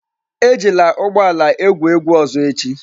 Ejila ụgbọ ala a egwu egwu ọzọ echi!